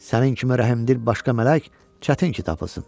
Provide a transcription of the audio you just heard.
Sənin kimi rəhimdil başqa mələk çətin ki tapılsın.